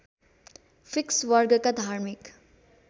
fix वर्गका धार्मिक